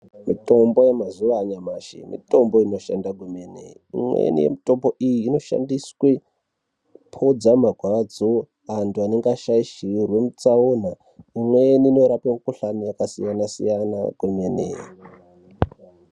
Mitombo yemazuva anyamashi, mitombo inoshanda kwemene. Imweni yemitombo iyi inoshandiswe kupodza marwadzo antu anenge ashaishirwe mutsaona. Imweni inorape mikuhlani yakasiyana-siyana kwemene.